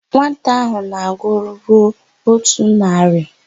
Nwata áhụ̀ na-agụru n'ótù narị.